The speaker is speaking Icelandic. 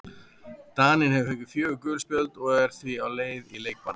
Daninn hefur fengið fjögur gul spjöld og er því á leið í leikbann.